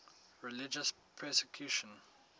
religious persecution